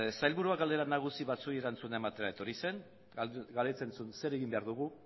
sailburua galdera nagusi batzuei erantzuna ematea etorri zen galdetzen zuen zer egin behar dugu